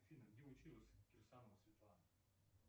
афина где училась кирсанова светлана